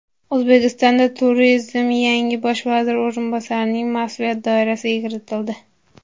O‘zbekistonda turizm yangi Bosh vazir o‘rinbosarining mas’uliyat doirasiga kiritildi.